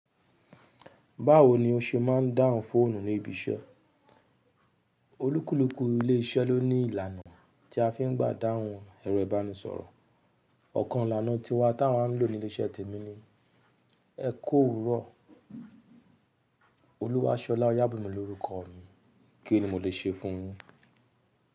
Báwo ni o ṣe máa ń dáhùn fóònù ní ibi iṣẹ́? Olúkúlùkù ilé iṣẹ́ ló ní ìlànà tí a fi ń gbà dáhùn ẹ̀rọ ìbánisọ̀rọ̀. Ọ̀kan ìlànà tí wa tí a ń lò ní ilé iṣẹ́ tèmi ni “Ẹ kó òwúrọ̀”. “Olúwàṣọlá Oyábìmi” ni orúkọ mi. Kí ni mo lè ṣe fún ọ?